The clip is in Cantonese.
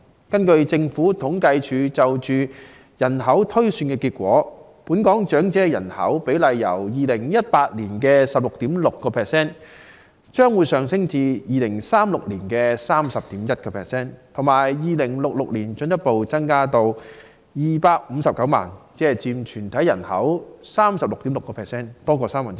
根據政府統計處就香港人口推算的結果，本港長者的比例將由2018年的 16.6% 上升至2036年的 31.1%， 更會在2066年進一步增至259萬人，佔總人口的 36.6%， 即超過三分之一。